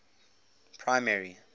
primary